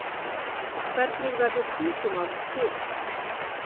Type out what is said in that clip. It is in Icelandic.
hvernig verður tungumál til